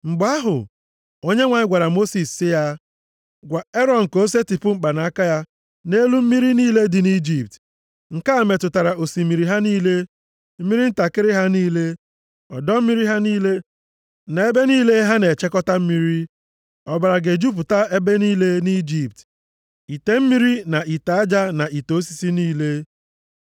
Mgbe ahụ, Onyenwe anyị gwara Mosis sị ya, “Gwa Erọn ka o setịpụ mkpanaka ya nʼelu mmiri niile dị nʼIjipt. Nke a metụtara osimiri ha niile, mmiri ntakịrị ha niile, ọdọ mmiri ha niile, na ebe niile ha na-echekọta mmiri. Ọbara ga-ejupụta ebe niile nʼIjipt, ite mmiri na ite aja na ite osisi niile.”